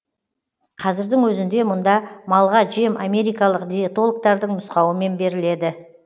қазірдің өзінде мұнда малға жем америкалық диетологтардың нұсқауымен беріледі